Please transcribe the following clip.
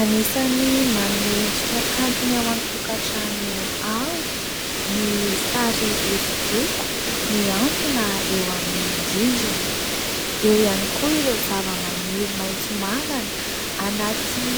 Anisany manome endrika kanto ny ao an-tokantrano ao ny sary hosodoko mihantona eo amin'ny rindrina ; eo ihany koa ireo zavamaniry maitso mavana anaty